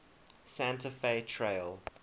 santa fe trail